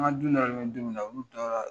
An ka du nɔrɔlen bɛ du min olu taara